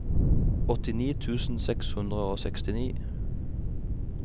åttini tusen seks hundre og sekstini